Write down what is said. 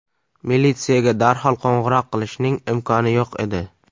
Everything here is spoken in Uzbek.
Militsiyaga darhol qo‘ng‘iroq qilishning imkoni yo‘q edi.